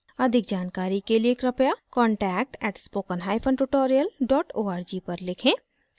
अधिक जानकारी के लिए कृपया contact @spokentutorial org पर लिखें